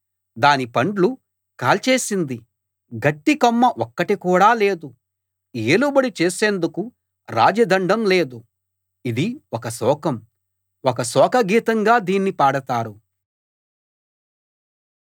దాని పండ్లు కాల్చేసింది గట్టి కొమ్మ ఒక్కటి కూడా లేదు ఏలుబడి చేసేందుకు రాజదండం లేదు ఇది ఒక శోకం ఒక శోక గీతంగా దీన్ని పాడతారు